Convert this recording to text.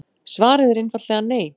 Svarið er einfaldlega nei.